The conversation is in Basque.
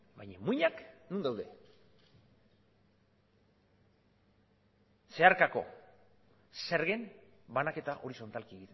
baina muinak non daude zeharkako zergen banaketa horizontalki